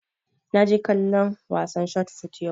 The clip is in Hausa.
Na je kallon wasan shot fot yau